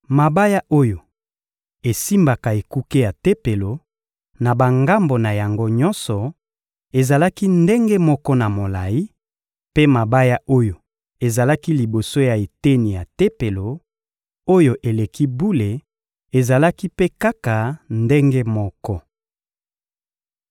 Mabaya oyo esimbaka ekuke ya Tempelo, na bangambo na yango nyonso, ezalaki ndenge moko na molayi; mpe mabaya oyo ezalaki liboso ya eteni ya Tempelo, oyo eleki bule ezalaki mpe kaka ndenge moko.